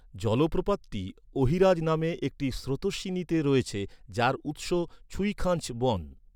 জলপ্রপাতটি অহিরাজ নামে একটি স্রোতোস্বিনীতে রয়েছে, যার উৎস 'ছুইখাঞ্চ' বন।